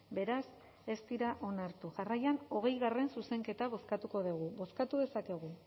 beraz ez dira onartu jarraian hogeigarrena zuzenketa bozkatuko dugu